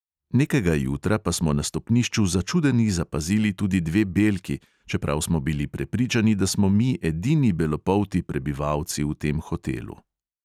Nekega jutra pa smo na stopnišču začudeni zapazili tudi dve belki, čeprav smo bili prepričani, da smo mi edini belopolti prebivalci v tem hotelu.